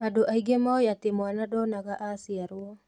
Andũ aingĩ mooĩ atĩ mwana ndonaga aciarwo